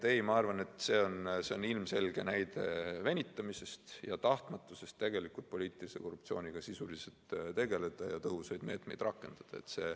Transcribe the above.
Ma arvan, et see on ilmselge näide venitamise ja tahtmatuse kohta poliitilise korruptsiooniga sisuliselt tegeleda ja tõhusaid meetmeid rakendada.